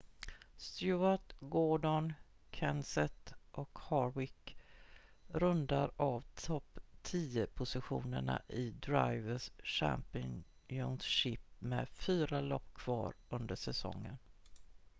stewart gordon kenseth och harvick rundar av topp-tio-positionerna i drivers' championship med fyra lopp kvar under säsongen